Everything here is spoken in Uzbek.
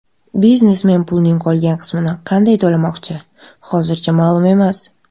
Biznesmen pulning qolgan qismini qanday to‘lamoqchi, hozircha ma’lum emas.